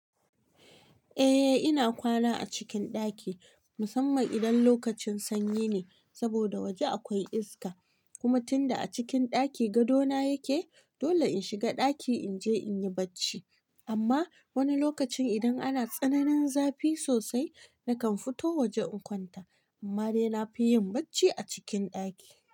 Eh ina kwana a cikin ɗaki musamman idan lokacin sanyi ne saboda waje akwai iska kuma tunda a cikin ɗaki gado na yake dole in shiga ɗaki in je in yi bacci amma wani lokacin idan ana tsananin zafi sosai nakan fito waje in kwanta amma dai na fi yin bacci a cikin ɗaki.